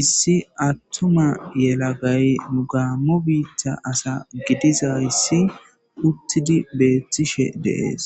issi attuma yelagay nu gaammo biitta asa gidiza issi uttidi beeththishe deees